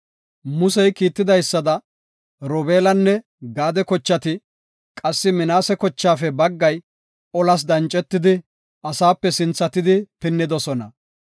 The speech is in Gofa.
Musey kiitidaysada, Robeelanne Gaade kochati, qassi Minaase kochaafe baggay olas dancetidi, asaape sinthatidi pinnidosona.